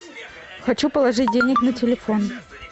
хочу положить денег на телефон